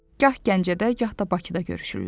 Gah Gəncədə, gah da Bakıda görüşürlər.